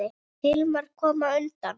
Hilmar kom á undan.